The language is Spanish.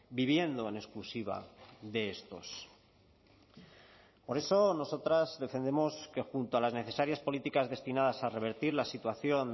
viviendo en exclusiva de estos por eso nosotras defendemos que junto a las necesarias políticas destinadas a revertir la situación